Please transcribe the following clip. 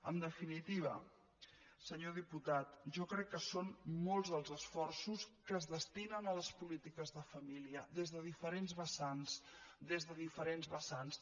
en definitiva senyor diputat jo crec que són molts els esforços que es destinen a les polítiques de família des de diferents vessants des de diferents vessants